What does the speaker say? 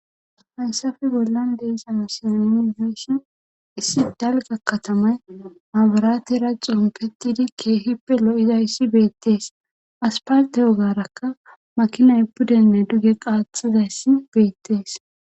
Faysafi bollan deysana sinefeeshin issi dalga katamay maaburaati ra xon pettidi keehippe lo7izayssi beettees asparte yogarakka makinaypudenne duge qaaxizayssi beettees.